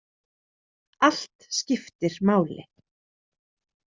Allt skiptir máli.